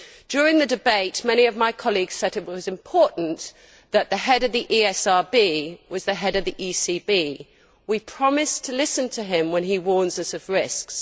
During the debate, many of my colleagues said that it was important that the head of the ESRB was the head of the ECB. We promised to listen to him when he warned us of risks.